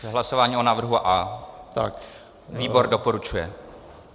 Hlasování o návrhu A. Výbor doporučuje.